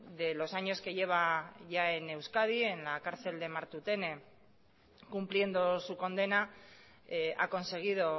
de los años que lleva en euskadi en la cárcel de martutene cumpliendo su condena ha conseguido